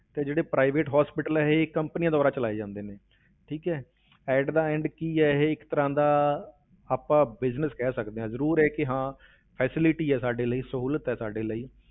ਤੇ ਜਿਹੜੇ private hospital ਹੈ ਇਹ companies ਦੁਆਰਾ ਚਲਾਏ ਜਾਂਦੇ ਨੇ ਠੀਕ ਹੈ at the end ਕੀ ਹੈ ਇਹ ਇੱਕ ਤਰ੍ਹਾਂ ਦਾ ਆਪਾਂ business ਕਹਿ ਸਕਦੇ ਹਾਂ, ਜ਼ਰੂਰ ਹੈ ਕਿ ਹਾਂ facility ਹੈ ਸਾਡੇ ਲਈ, ਸਹੂਲਤ ਹੈ ਸਾਡੇ ਲਈ